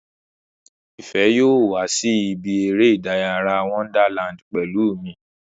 Ìfẹ́ yóò wá sí ibi eré ìdárayá Wonderland pẹ̀lú mi